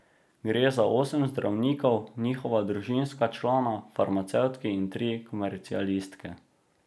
Gre za osem zdravnikov, njihova družinska člana, farmacevtki in tri komercialiste.